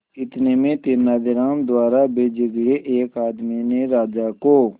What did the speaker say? इतने में तेनालीराम द्वारा भेजे गए एक आदमी ने राजा को